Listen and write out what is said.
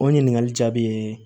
O ɲininkali jaabi ye